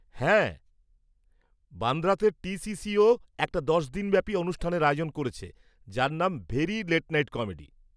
হ্যাঁ, বান্দ্রাতে T C সি-ও একটা দশ দিন ব্যাপি অনুষ্ঠানের আয়োজন করছে যার নাম 'ভেরি লেট নাইট কমেডি'।